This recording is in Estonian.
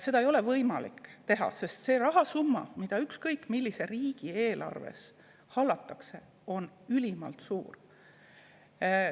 Seda ei ole võimalik teha, sest rahasumma, mida ükskõik millise riigi eelarves hallatakse, on ülimalt suur.